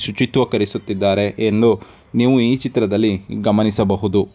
ಶುಚಿತ್ವವನ್ನು ಕಲಿಸುತ್ತಿದ್ದಾರೆ ಎಂದು ನೀವು ಈ ಚಿತ್ರದಲ್ಲಿ ಗಮನಿಸಬಹುದು.